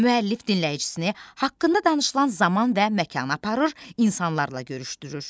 Müəllif dinləyicisini haqqında danışılan zaman və məkana aparır, insanlarla görüşdürür.